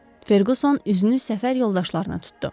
Ferqüson üzünü səfər yoldaşlarına tutdu.